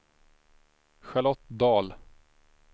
Charlotte Dahl